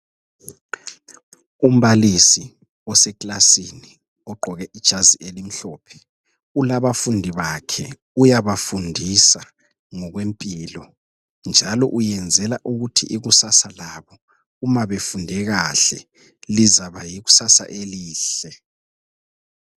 Umbalisi osekilasini ogqoke ijazi elimhlophe kulabafundi bakhe uyabafundisa ngokwempilo njalo uyenzela ukuthi ikusasa labo uma befunde kahle lizaba yikusasa elihle.